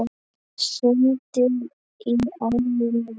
Sundið í ánni Nið